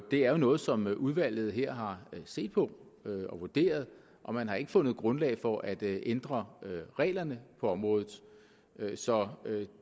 det er jo noget som udvalget her har set på og vurderet og man har ikke fundet grundlag for at ændre reglerne på området så